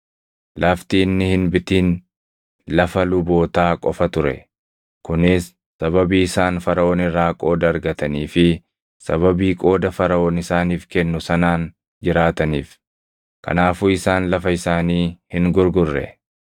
Lafti inni hin bitin lafa lubootaa qofa ture; kunis sababii isaan Faraʼoon irraa qooda argatanii fi sababii qooda Faraʼoon isaaniif kennu sanaan jiraataniif. Kanaafuu isaan lafa isaanii hin gurgurre.